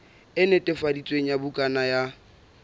e netefaditsweng ya bukana ya